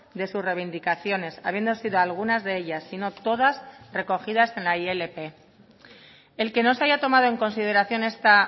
de sus reivindicaciones habiendo sido algunas de ellas si no todas recogidas en la ilp el que no se haya tomado en consideración esta